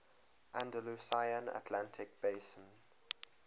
andalusian atlantic basin